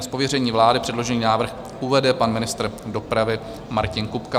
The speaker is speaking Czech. Z pověření vlády předložený návrh uvede pan ministr dopravy Martin Kupka.